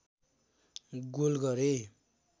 goal गरे